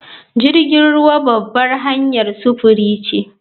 Jirgin ruwa babbar hanyar sufuri ce